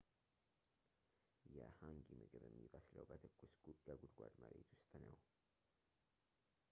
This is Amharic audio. የhangi ምግብ የሚበስለው በትኩስ የጉድጓድ መሬት ውስጥ ነው